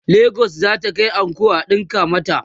legas zata Kai anko a ɗinka mata